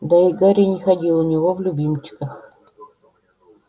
да и гарри не ходил у него в любимчиках